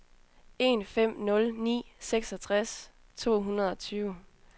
en fem nul ni seksogtres to hundrede og tyve